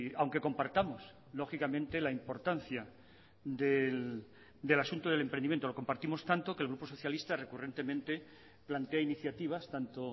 aunque compartamos lógicamente la importancia del asunto del emprendimiento lo compartimos tanto que el grupo socialista recurrentemente plantea iniciativas tanto